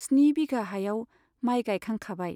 स्नि बिघा हायाव माइ गाइखांखाबाय।